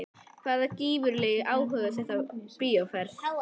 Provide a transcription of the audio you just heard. Hvaða gífurlegi áhugi er þetta á bíóferð?